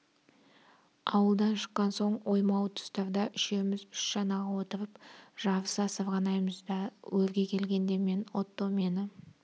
ауылдан шыққан соң оймауыт тұстарда үшеуміз үш шанаға отырып жарыса сырғанаймыз да өрге келгенде мен отто мені